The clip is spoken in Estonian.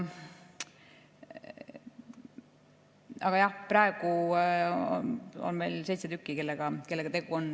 Aga jah, praegu on seitse tükki neid, kellega meil tegu on.